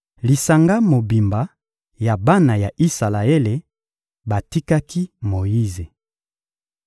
Lisanga mobimba ya bana ya Isalaele batikaki Moyize.